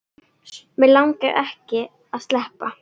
Mig langaði ekki að sleppa.